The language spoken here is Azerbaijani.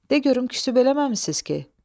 De görüm küsüb eləməmisiniz ki?